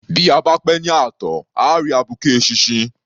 Bí a bá pẹ́ ní ààtàn à á rí abuké eṣinṣin.